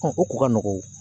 o kun ka o